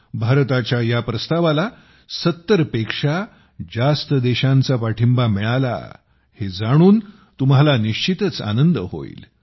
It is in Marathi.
भारताच्या या प्रस्तावाला 70 पेक्षा जास्त देशांचा पाठिंबा मिळाला आहे हे जाणून तुम्हाला निश्चितच आनंद होईल